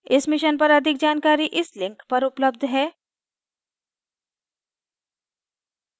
इस mission पर अधिक जानकारी इस link पर उपलब्ध है